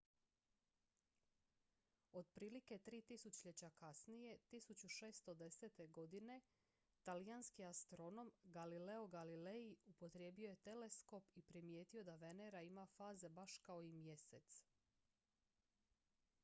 otprilike tri tisućljeća kasnije 1610. godine talijanski astronom galileo galilei upotrijebio je teleskop i primijetio da venera ima faze baš kao i mjesec